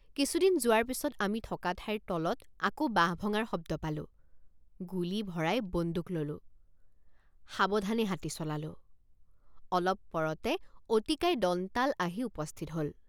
কিছুদূৰ যোৱাৰ পিচত আমি থকা ঠাইৰ তলত আকৌ বাঁহ ভঙাৰ শব্দ পালোঁ গুলী ভৰাই বন্দুক ললোঁ ৷ সাৱধানে হাতী চলালোঁ অলপ পৰতে অতিকায় দন্তাল আহি উপস্থিত হল ।